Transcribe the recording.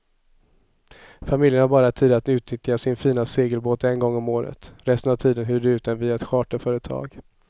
Familjen har bara tid att utnyttja sin fina segelbåt en gång om året, resten av tiden hyr de ut den via ett charterföretag.